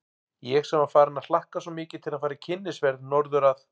Ég sem var farin að hlakka svo mikið til að fara í kynnisferð norður að